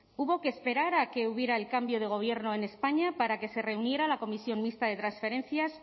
hubo que esperar a que hubiera el cambio de gobierno en españa para que se reuniera la comisión mixta de transferencias